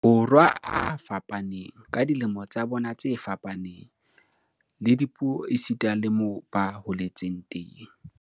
Borwa a fapaneng, ka dilemo tsa bona tse fapaneng, le dipuo esita le moo ba holetseng teng.